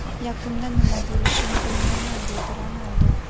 Yakunda nima bo‘lishini bilmayman”, – dedi Ronaldu.